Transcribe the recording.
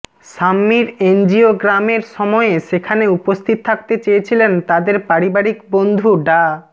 শাম্মীর এনজিওগ্রামের সময়ে সেখানে উপস্থিত থাকতে চেয়েছিলেন তাদের পারিবারিক বন্ধু ডা